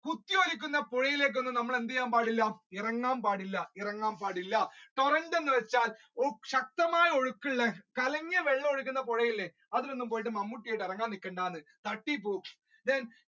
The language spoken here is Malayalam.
കുത്തിയൊലിക്കുന്ന പുഴയിലേക്ക് ഒന്നും നമ്മൾ എന്ത് ചെയ്യാൻ പാടില്ല ഇറങ്ങാൻ പാടില്ല ഇറങ്ങാൻ പാടില്ല current എന്ന് വെച്ചാൽ ശക്തമായ ഒഴുക്ക് ഉള്ള കലങ്ങിയ വെള്ളം ഒഴുകുന്ന പുഴ ഇല്ലേ അതിലൊന്നും ഇറങ്ങാൻ നിക്കരുത് തട്ടിപോവും then